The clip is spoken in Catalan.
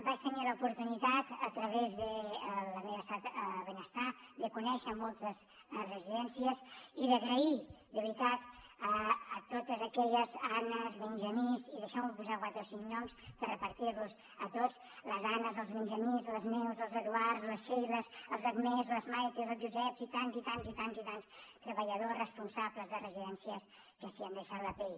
vaig tenir l’oportunitat a través de la meva estada a benestar de conèixer moltes residències i d’agrair de veritat a totes aquelles annes benjamins i deixeu m’hi posar quatre o cinc noms per repartir los a tots les neus els eduards les sheiles les agnès les maites el joseps i tants i tants i tants i tants treballadors responsables de residències que s’hi han deixat la pell